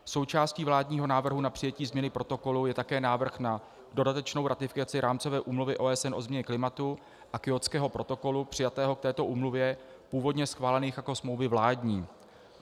Součástí vládního návrhu na přijetí změny protokolu je také návrh na dodatečnou ratifikaci Rámcové úmluvy OSN o změně klimatu a Kjótského protokolu přijatého k této úmluvě, původně schválených jako smlouvy vládní.